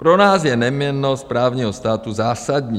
Pro nás je neměnnost právního státu zásadní.